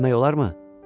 Bilmək olarmı?